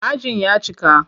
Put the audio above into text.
Ajin ya cika.